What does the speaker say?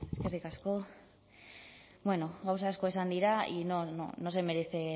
eskerrik asko gauza asko esan dira y no se merece